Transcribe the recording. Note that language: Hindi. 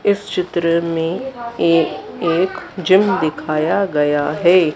इस चित्र में ए एक एक जिम दिखाया गया है।